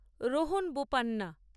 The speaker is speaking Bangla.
রোহন বোপান্না